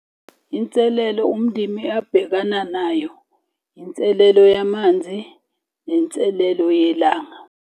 Inselelo umndimi abhekana nayo, inselelo yamanzi, nenselelo yelanga.